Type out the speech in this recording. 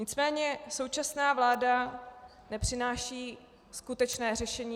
Nicméně současná vláda nepřináší skutečné řešení.